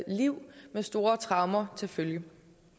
liv med store traumer til følge